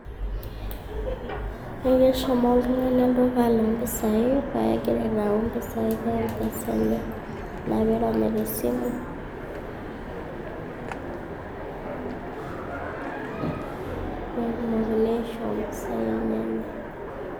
Ekeshomo oltung'ani olduka lompisai negira aitayu mpisai te mpesa napironyita esimu nishoo mpisai enyenyek